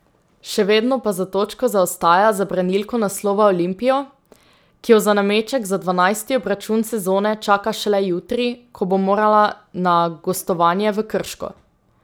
Še vedno pa za točko zaostaja za branilko naslova Olimpijo, ki jo za nameček dvanajsti obračun sezone čaka šele jutri, ko bo morala na gostovanje v Krško.